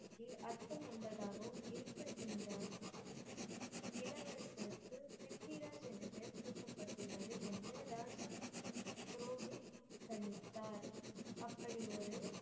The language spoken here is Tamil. அர்த்தமுள்ளதாகவும் இருக்க இந்த இளவரசருக்கு பிரத்விராஜ் என்று பெயர் சூட்டபட்டுள்ளது என்று ராஜா புரோஹித் கணித்தார். அப்படி ஒரு